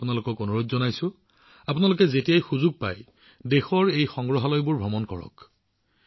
মই আপোনালোকক অনুৰোধ জনাইছো যে যেতিয়াই আপোনালোকে সুযোগ পায় আমাৰ দেশৰ এই সংগ্ৰহালয়সমূহ পৰিদৰ্শন কৰিবলৈ যাব